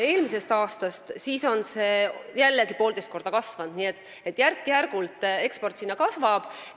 Eelmisel aastal oli see jällegi 1,5 korda rohkem, nii et eksport sinna järk-järgult kasvab.